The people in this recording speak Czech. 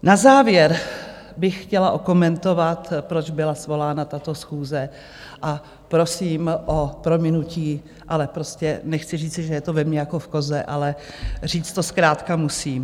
Na závěr bych chtěla okomentovat, proč byla svolána tato schůze, a prosím o prominutí, ale prostě nechci říci, že je to ve mně jako v koze, ale říct to zkrátka musím.